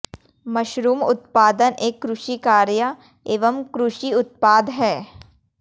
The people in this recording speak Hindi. मशरूम उत्पादन एक कृषि कार्य एवं कृषि उत्पाद है